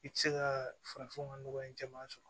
I tɛ se ka farafin ka nɔgɔya caman sɔrɔ